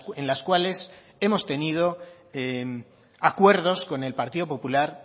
en las cuales hemos tenido acuerdos con el partido popular